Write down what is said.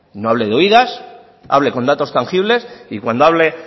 no hable de oídas hable con datos tangibles y cuando hable